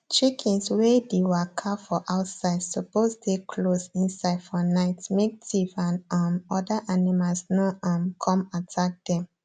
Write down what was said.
chickens way the waka for outside suppose dey close inside for night make thief and um other animals no um come attack them